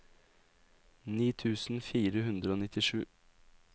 ni tusen fire hundre og nittisju